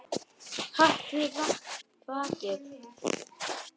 Hatrið vakir.